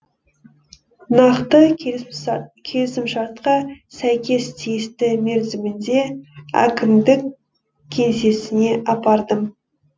нақты келісімшартқа сәйкес тиісті мерзімінде әкімдік кеңсесіне апардым